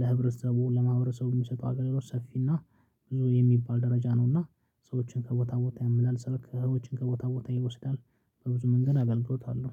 ለህብረተሰቡ ለማህበረሰቡ የሚሰጡ አገልግሎት ሰፊ እና ብዙ የሚባል ደረጃ ነውና። ሰዎችን ከቦታ ቦታ ያመላልሳል ሰርክ ከህይወት ከቦታ ቦታ ይወስዳል። በብዙ መንገድ አገልግሎታለሁ